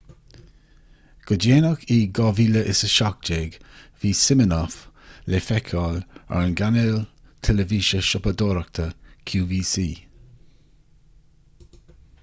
go déanach in 2017 bhí siminoff le feiceáil ar an gcainéal teilifíse siopadóireachta qvc